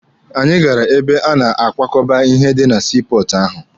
Anyị gara ebe a na-ekwakọba ihe dị na sii pọọtụ ahụ.